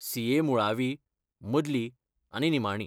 CA. मुळावी, मदली आनी निमाणी.